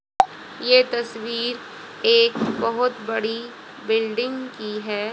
ये तस्वीर एक बहुत बड़ी बिल्डिंग की है।